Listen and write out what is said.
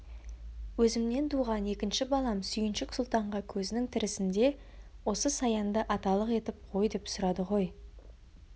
өзімнен туған екінші балам сүйіншік сұлтанға көзінің тірісінде осы саянды аталық етіп қой деп сұрады ғой